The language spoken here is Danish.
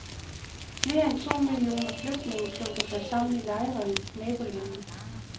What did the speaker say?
Flere end to millioner flygtninge klumper sig sammen i lejre i nabolandene.